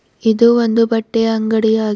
ಇದು ಒಂದು ಬಟ್ಟೆಯ ಅಂಗಡಿ ಆಗಿ--